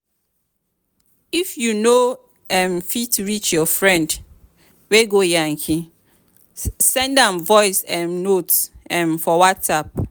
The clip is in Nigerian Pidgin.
if you know um fit reach your friend wey go yankee send am voice um note um for whatsapp.